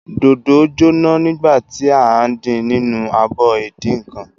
Dòdò jóná nígbà tí à ń din nínú abọ ìdínǹkan.